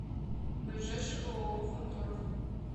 ближайший ооо фанторг